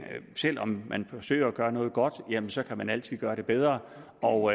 selv om man forsøger at gøre noget godt så kan man altid gøre det bedre og